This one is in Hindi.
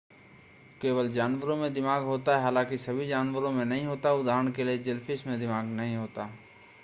केवल जानवरों में दिमाग होता है हालाँकि सभी जानवरों में नहीं होता है; उदाहरण के लिए जेलीफ़िश में दिमाग नहीं होता है।